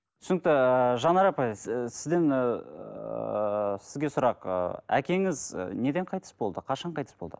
түсінікті жанар апай сізден ыыы сізге сұрақ ы әкеңіз неден қайтыс болды қашан қайтыс болды